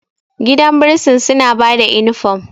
gidan bursin suna ba da inifom